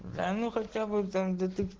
да ну хотя бы там детек